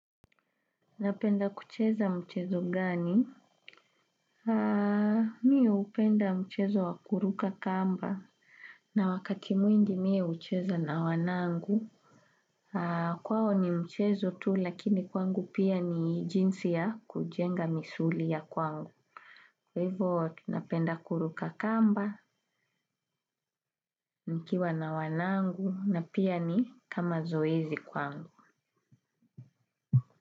Napenda kucheza mchezo gani? Mi upenda mchezo wakuruka kamba na wakati mwingi mie ucheza na wanangu. Kwao ni mchezo tu lakini kwangu pia ni jinsi ya kujenga misuli ya kwangu. Kwa hivyo tunapenda kuruka kamba nikiwa na wanangu na pia ni kama zoezi kwangu.